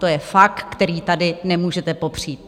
To je fakt, který tady nemůžete popřít.